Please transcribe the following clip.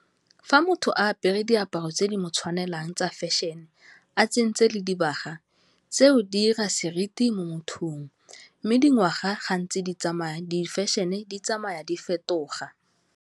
Fa motho a apere diaparo tse di mo tshwanelang tsa fashion, a tsentse le dibaga, tseo di dira seriti mo mothong mme dingwaga gantsi di tsamaya, di fashion-e di tsamaya di fetoga.